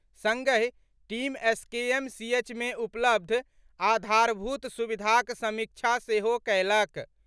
संगहि team SKMCH मे उपलब्ध आधारभूत सुविधाक समीक्षा सेहो कयलक।